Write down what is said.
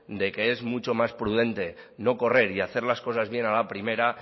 de que es mucho más prudente no correr y hacer las cosas bien a la primera